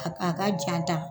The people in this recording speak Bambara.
A ka jan tan.